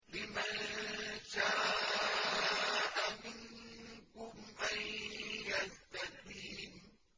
لِمَن شَاءَ مِنكُمْ أَن يَسْتَقِيمَ